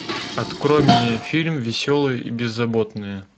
открой мне фильм веселые и беззаботные